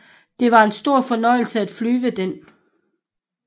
Det var en stor fornøjelse at flyve den